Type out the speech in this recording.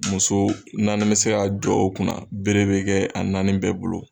Muso naani bɛ se ka jɔ o kunna bere bɛ kɛ a naani bɛɛ bolo.